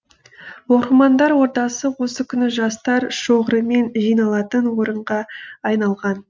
оқырмандар ордасы осы күні жастар шоғырымен жиналатын орынға айналған